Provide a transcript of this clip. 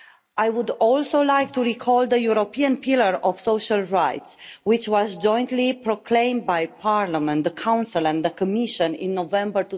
I would also like to recall the European pillar of social rights, which was jointly proclaimed by Parliament, the Council and the Commission in November